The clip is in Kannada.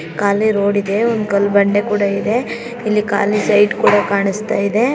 ಖಾಲಿ ರೋಡ್ ಇದೆ ಒಂದ್ ಕಲ್ಲ್ ಬಂಡೆ ಕೂಡ ಇದೆ. ಇಲ್ಲಿ ಖಾಲಿ ಸೈಟ್ ಕೂಡ ಕಾಣಿಸ್ತಾ ಇದೆ.